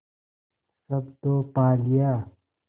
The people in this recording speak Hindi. सब तो पा लिया